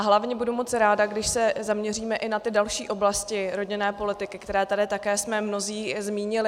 A hlavně budu moc ráda, když se zaměříme i na ty další oblasti rodinné politiky, které tady také jsme mnozí zmínili.